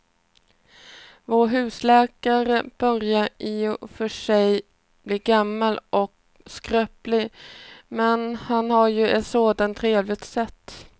Vår husläkare börjar i och för sig bli gammal och skröplig, men han har ju ett sådant trevligt sätt!